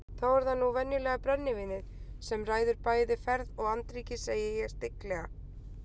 Þá er það nú venjulega brennivínið sem ræður bæði ferð og andríki, segi ég stygglega.